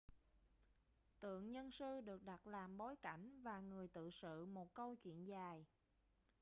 tượng nhân sư được đặt làm bối cảnh và người tự sự một câu chuyện dài